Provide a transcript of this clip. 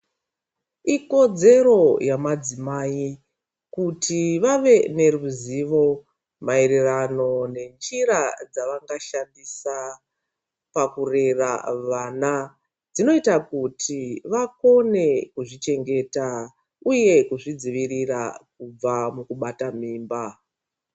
Ikodzero yamadzimai kuti vave neruzivo maererano nenjira dzavangashandisa pakurera vana. Dzinoita kuti vakone kuzvichengeta, uye kuzvidzivirira kubva mukubata mimba.